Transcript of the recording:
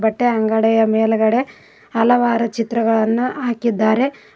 ಬಟ್ಟೆಯ ಅಂಗಡಿಯ ಮೇಲ್ಗಡೆ ಹಲವಾರು ಚಿತ್ರಗಳನ್ನ ಹಾಕಿದ್ದಾರೆ.